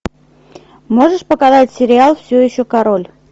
можешь показать сериал все еще король